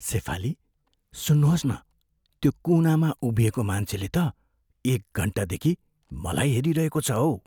सेफाली, सुन्नुहोस् न, त्यो कुनामा उभिएको मान्छेले त एक घन्टादेखि मलाई हेरिरहेको छ हौ।